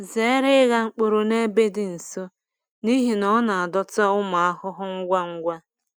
Zere ịgha mkpụrụ n’ebe dị nso n’ihi na ọ na-adọta ụmụ ahụhụ ngwa ngwa.